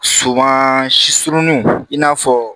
Suman si suruninw i n'a fɔ